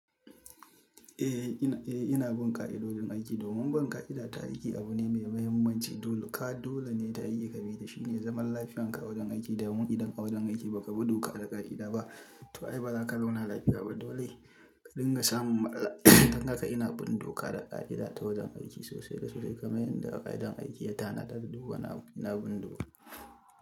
Eh ina, eh ina bin ƙa'idodin aiki domin bin ƙa'ida ta aiki abu ne mai mahimmanci. Dole ka, dole ne ta iyyka bi da shi ne zaman lafiyanka a wajen aiki. Domin idan a wajen aiki ba ka bi doka da ƙa'ida ba, to ai ba za ka zauna lafiya ba dole ka dinga samu matsala. Don haka ina bin doka da ƙa'ida ta wajen aiki sosai. Da suɗa kai kamar yadda ƙa'idar aiki ya tanada duk wani abu ina bin doka.